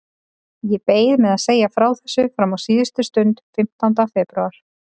Ég beið með að segja frá þessu fram á síðustu stund, fimmtánda febrúar.